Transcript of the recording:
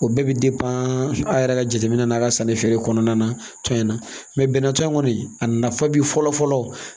O bɛɛ bɛ a yɛrɛ ka jateminɛ na ka sanni feere kɔnɔna na tɔn in na bɛnnɛ tɔn in kɔni a nafa bi fɔlɔ fɔlɔ